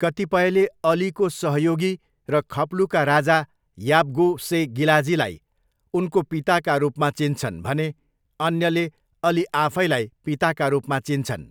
कतिपयले अलीको सहयोगी र खप्लुका राजा याब्गो से गिलाजीलाई उनको पिताका रूपमा चिन्छन् भने अन्यले अली आफैलाई पिताका रूपमा चिन्छन्।